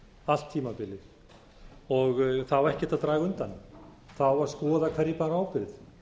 allt tímabilið og það á ekkert að draga undan það á að skoða hverjir báru ábyrgð